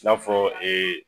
I n'a fɔ